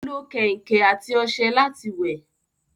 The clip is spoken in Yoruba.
Ó lo kẹ̀ǹkẹ̀ àti ọṣẹ láti wẹ̀